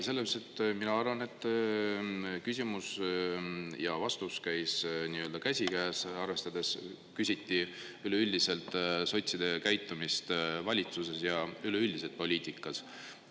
Selles mõttes mina arvan, et küsimus ja vastus käis käsikäes arvestades, küsiti üleüldiselt sotside käitumist valitsuses ja üleüldiselt poliitikas.